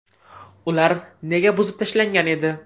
Ular nega buzib tashlangan edi?.